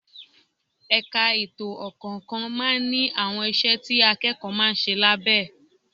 Ẹ̀ka ètò ọkọ̀ kọ̀ọ̀kan máa ń ní àwọn iṣẹ́ tí akẹ́kọ̀ọ́ máa ń ṣe lábẹ́ ẹ